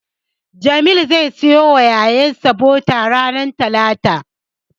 Jamil zai siyo wa ƴaƴansa bota ranar talata.